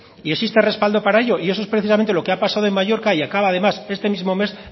y existe respaldo para ello eso es precisamente lo que ha pasado en mallorca y acaba además este mismo mes